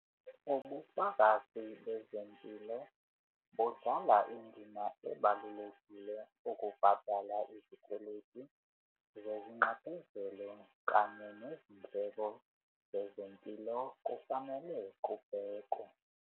Ubufakazi bezempilo budlala indima ebalulekile ukubhadala izikweleti zezinxephezelo kanye nezindleko zezempilo kufanele bubhekwe.